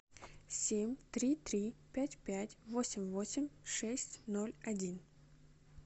семь три три пять пять восемь восемь шесть ноль один